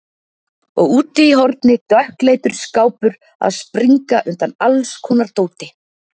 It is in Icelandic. Og úti í horni dökkleitur skápur að springa undan allskonar dóti.